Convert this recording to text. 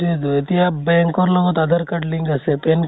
তো এতিয়া BANK ৰ লগত আধাৰ card তো link আছে, PAN